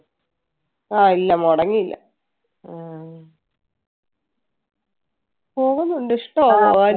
ആ ഇല്ല മുടങ്ങില്ല പോകുന്നുണ്ട് ഇഷ്ടം ആണ് പോവാൻ.